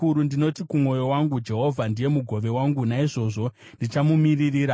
Ndinoti kumwoyo wangu, “Jehovha ndiye mugove wangu; naizvozvo ndichamumirira.”